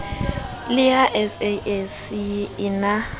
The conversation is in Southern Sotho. le ha sasc e na